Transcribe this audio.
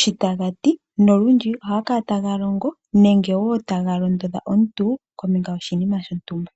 shoka taga ti, nolundji ohaga kala taga longo nenge woo taga londodha omuntu kombinga yoshinima shontumba.